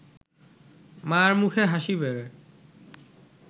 মা’র মুখের হাসি বেড়ে